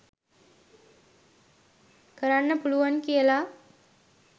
කරන්න පුළුවන් කියල